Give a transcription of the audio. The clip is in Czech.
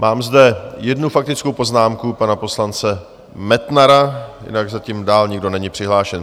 Mám zde jednu faktickou poznámku pana poslance Metnara, jinak zatím dál nikdo není přihlášen.